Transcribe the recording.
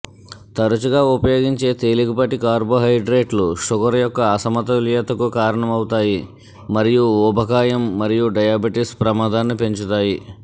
తరచుగా ఉపయోగించే తేలికపాటి కార్బోహైడ్రేట్లు షుగర్ యొక్క అసమతుల్యతకు కారణమవుతాయి మరియు ఊబకాయం మరియు డయాబెటిస్ ప్రమాదాన్ని పెంచుతాయి